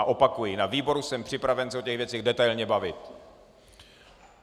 A opakuji: Na výboru jsem připraven se o těchto věcech detailně bavit!